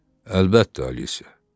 Əlbəttə, Alisə.